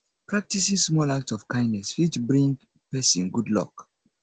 practicing small act of kindness fit bring persin good luck